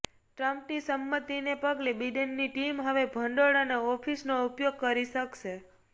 ટ્રમ્પની સંમતિને પગલે બિડેનની ટીમ હવે ભંડોળ અને ઓફિસનો ઉપયોગ કરી શકશે